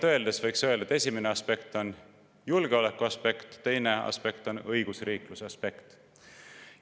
Kõige laiemalt öeldes, esimene aspekt on julgeolekuaspekt ja teine aspekt on õigusriikluse aspekt.